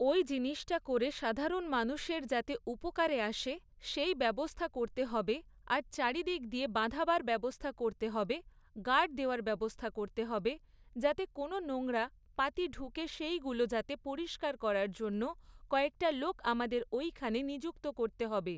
ওই জিনিসটা করে সাধারণ মানুষের যাতে উপকারে আসে সেই ব্যবস্থা করতে হবে আর চারদিক দিয়ে বাঁধাবার ব্যবস্থা করতে হবে গার্ড দেয়ার ব্যবস্থা করতে হবে যাতে কোন নোংরা পাতি ঢুকে সেইগুলো যাতে পরিষ্কার করার জন্যে কয়েকটা লোক আমাদের ওইখানে নিযুক্ত করতে হবে।